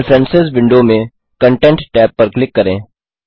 preference window में content tab पर click करें